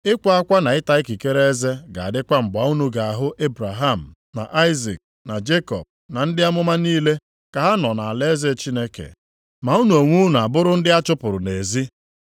“Ịkwa akwa na ịta ikikere eze ga-adịkwa mgbe unu ga-ahụ Ebraham, na Aịzik na Jekọb na ndị amụma niile ka ha nọ nʼalaeze Chineke; ma unu onwe unu abụrụ ndị a chụpụrụ nʼezi.